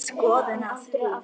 Hefur þú skoðun á því?